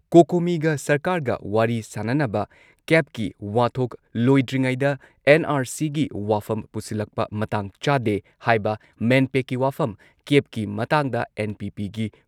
ꯀꯣꯀꯣꯃꯤꯒ ꯁꯔꯀꯥꯔꯒ ꯋꯥꯔꯤ ꯁꯥꯟꯅꯅꯕ, ꯀꯦꯕꯀꯤ ꯋꯥꯊꯣꯛ ꯂꯣꯏꯗ꯭ꯔꯤꯉꯩꯗ ꯑꯦꯟ.ꯑꯥꯔ.ꯁꯤꯒꯤ ꯋꯥꯐꯝ ꯄꯨꯁꯤꯜꯂꯛꯄ ꯃꯇꯥꯡ ꯆꯥꯗꯦ ꯍꯥꯏꯕ ꯃꯦꯟꯄꯦꯛꯀꯤ ꯋꯥꯐꯝ ꯀꯦꯕꯀꯤ ꯃꯇꯥꯡꯗ ꯑꯦꯟ.ꯄꯤ.ꯄꯤꯒꯤ